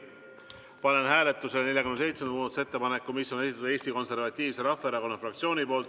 Panen hääletusele 47. muudatusettepaneku, mille on esitanud Eesti Konservatiivse Rahvaerakonna fraktsioon.